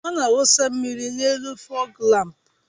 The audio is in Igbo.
Ọ na-awụsa mmiri n'elu fọgu lámpu